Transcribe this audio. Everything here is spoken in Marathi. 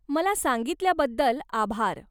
मला सांगितल्याबद्दल आभार.